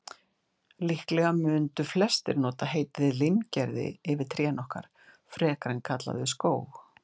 Líklega mundu flestir nota heitið limgerði yfir trén okkar, frekar en að kalla þau skóg.